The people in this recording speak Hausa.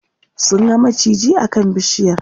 sun ga maciji a kan bishiyar